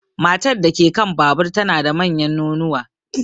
Matar da ke kan babur tana da manyan nonuwa.